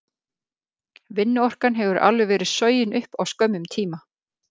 Vinnuorkan hefur alveg verið sogin upp á skömmum tíma.